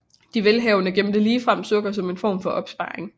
De velhavende gemte ligefrem sukker som en form for opsparing